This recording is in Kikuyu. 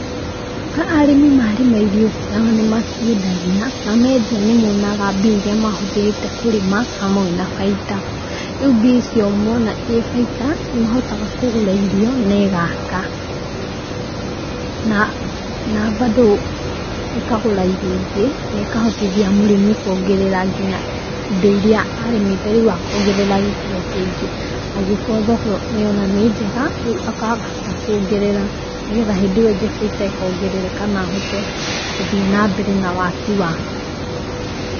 Arĩmi marĩma irio ciao nĩmaciendagia na mendia nĩ monaga mbia iria mahũthĩrĩte kũrĩma hamwe na bainda, rĩu mbia icio mona ĩ bainda, nĩmahotaga kũgũra irio na ĩgaka na mbandũ ĩkagũra irio ingĩ na ĩkahotithia mũrĩmi kuongerera nginya indo iria arĩmĩte rĩu akongerera gĩkĩro kĩingĩ angĩkorwo thoko nĩ ona nĩ njega rĩu akahota kuongerera nĩgetha hĩndĩ ĩyo ĩngĩ bainda ĩkongerereka na ahote gũthiĩ na mbere na waki wake.